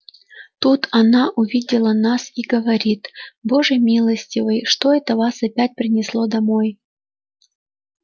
тут она увидела нас и говорит боже милостивый что это вас опять принесло домой